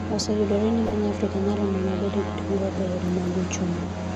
oseyudore ni piny Afrika nyalo mana bedo gi dongruok e yore mag uchumi